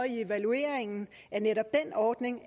i evalueringen af netop den ordning